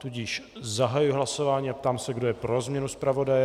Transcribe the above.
Tudíž zahajuji hlasování a ptám se, kdo je pro změnu zpravodaje.